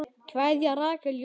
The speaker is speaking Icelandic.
Kveðja, Rakel Jóna.